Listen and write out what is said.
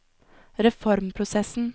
reformprosessen